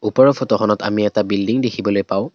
ওপৰৰ ফটোখনত আমি এটা বিল্ডিং দেখিবলৈ পাওঁ।